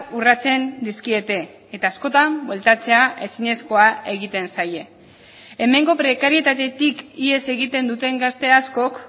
urratzen dizkiete eta askotan bueltatzea ezinezkoa egiten zaie hemengo prekarietatetik ihes egiten duten gazte askok